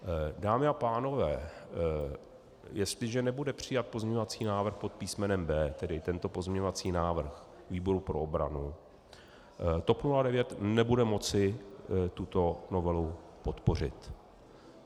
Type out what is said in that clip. Dámy a pánové, jestliže nebude přijat pozměňovací návrh pod písmenem B, tedy tento pozměňovací návrh výboru pro obranu, TOP 09 nebude moci tuto novelu podpořit.